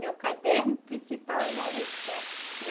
Meu caderno principal era esse, que a